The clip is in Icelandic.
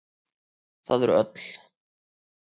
Það eru öll.